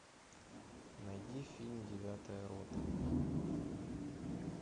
найди фильм девятая рота